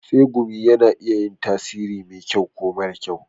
Tsegumi na iya yin tasiri mai kyau ko mara kyau.